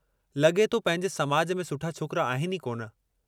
लॻे थो पंहिंजे समाज में सुठा में छोकिरा आहिनि ई कोन।